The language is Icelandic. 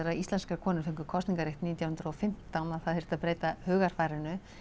að íslenskar konur fengu kosningarétt nítján hundruð og fimmtán að það þyrfti að breyta hugarfarinu